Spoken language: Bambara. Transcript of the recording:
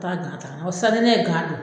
taa ta ka na o sisan ne ye don